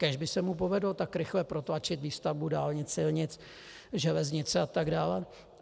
Kéž by se mu povedlo tak rychle protlačit výstavbu dálnic, silnic, železnic a tak dále.